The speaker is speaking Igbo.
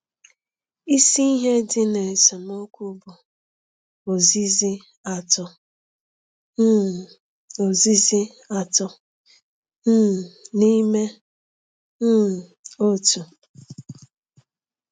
Isi ihe dị n’esemokwu bụ ozizi Atọ ,um ozizi Atọ ,um n’Ime um Otu.